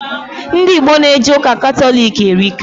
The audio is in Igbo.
Ndị Igbo na eje ụka Katọlik erika